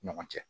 Ɲɔgɔn cɛ